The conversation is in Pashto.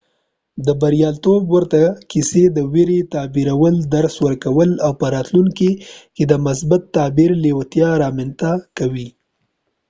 د بریالیتوب ورته کیسې د ویرې تغییرول درس ورکوي او په راتلونکي کې د مثبت تغییر لیوالتیا رامنځته کوي